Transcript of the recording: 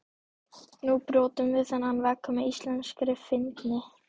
Nú brjótum við þennan vegg með íslenskri fyndni.